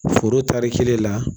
Foro tari kelen la